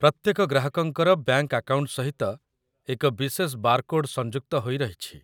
ପ୍ରତ୍ୟେକ ଗ୍ରାହକଙ୍କର bank account ସହିତ ଏକ ବିଶେଷ ବାରକୋଡ୍ ସଂଯୁକ୍ତ ହୋଇ ରହିଛି